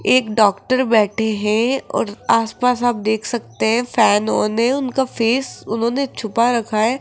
एक डॉक्टर बैठे हैं और आस पास आप देख सकते हैं फैन वैन है उनका फेस उन्होंने छुपा रखा है।